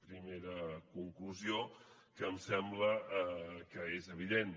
primera conclusió que em sembla que és evident